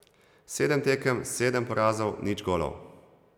Sedem tekem, sedem porazov, nič golov.